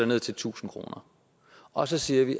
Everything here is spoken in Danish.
ned til tusind kroner og så siger vi